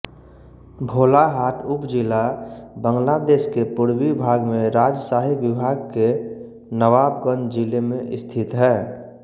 भोलाहाट उपजिला बांग्लादेश के पूर्वी भाग में राजशाही विभाग के नवाबगंज जिले में स्थित है